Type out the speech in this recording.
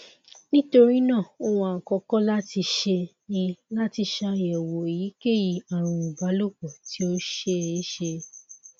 nitorinaa ohun akọkọ lati ṣe ni lati ṣayẹwo eyikeyi arun ibalopọ ti o ṣeeṣe